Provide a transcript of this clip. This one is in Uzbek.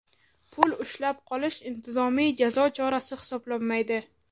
Pul ushlab qolish intizomiy jazo chorasi hisoblanmaydi.